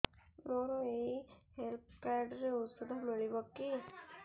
ମୋର ଏଇ health card ରେ ଔଷଧ ମିଳିବ କି